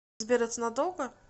сбер это надолго